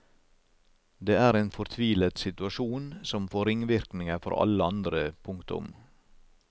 Det er en fortvilet situasjon som får ringvirkninger for alle andre. punktum